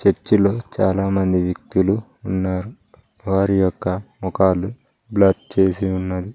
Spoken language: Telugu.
చర్చ్ లో చాలా మంది వ్యక్తులు ఉన్నారు వారి యొక్క మొఖాలు బ్లర్ చేసి ఉన్నాయి.